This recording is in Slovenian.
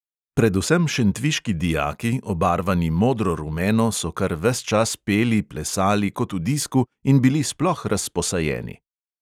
Predvsem šentviški dijaki, obarvani modro-rumeno, so kar ves čas peli, plesali kot v disku in bili sploh razposajeni.